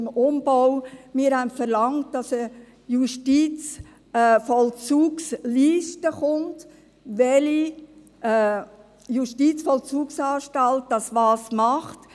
Wir verlangten, dass eine Justizvollzugsliste erstellt wird, aus der ersichtlich wird, welche Justizvollzugsanstalt was macht.